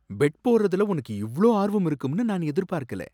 Bed போட்றதுல உனக்கு இவ்ளோ ஆர்வம் இருக்கும்னு நான் எதிர்பார்க்கல.